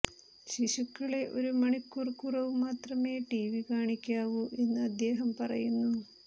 ശിശുക്കളെ ഒരു മണിക്കൂർ കുറവു മാത്രമേ ടിവി കാണിക്കാവൂ എന്നും അദ്ദേഹം പറയുന്നു